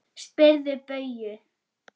Spyrðu Bauju!